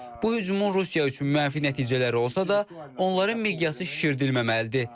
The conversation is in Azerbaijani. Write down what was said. Bu hücumun Rusiya üçün mənfi nəticələri olsa da, onların miqyası şişirdilməməlidir.